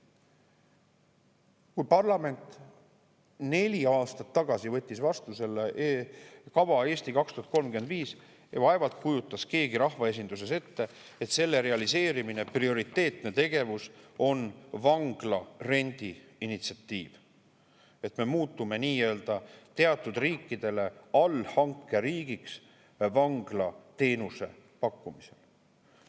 Kui parlament neli aastat tagasi võttis vastu selle kava "Eesti 2035", siis vaevalt kujutas keegi rahvaesinduses ette, et selle realiseerimise prioriteetne tegevus on vanglarendi initsiatiiv, et me muutume teatud riikidele nii-öelda allhankeriigiks vanglateenuse pakkumisel.